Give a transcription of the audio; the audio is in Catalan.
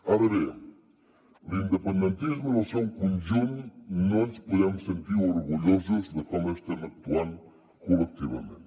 ara bé l’independentisme en el seu conjunt no ens podem sentir orgullosos de com estem actuant col·lectivament